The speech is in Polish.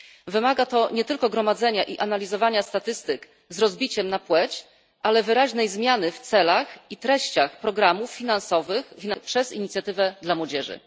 Wymaga to nie tylko gromadzenia i analizowania statystyk z rozbiciem na płeć, ale wyraźnej zmiany w celach i treściach programów finansowanych przez Inicjatywę dla Młodzieży.